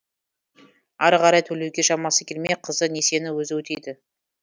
ары қарай төлеуге шамасы келмей қызы несиені өзі өтейді